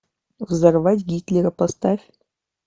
взорвать гитлера поставь